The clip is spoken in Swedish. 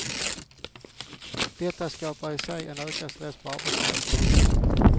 Detta skapar i sig en ökad stress på arbetsplatserna.